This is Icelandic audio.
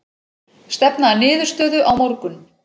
Stefna að niðurstöðu á morgun